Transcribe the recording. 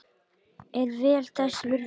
Er vel þess virði.